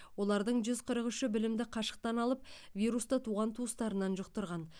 олардың жүз қырық үші білімді қашықтан алып вирусты туған туыстарынан жұқтырған